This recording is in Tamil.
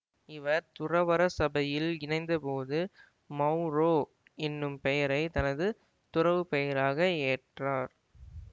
இவர் துறவற சபையில் இணைந்த போது மௌரோ என்னும் பெயரை தனது துறவுப்பெயராக ஏற்றார்